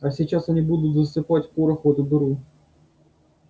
а сейчас они будут засыпать порох в эту дыру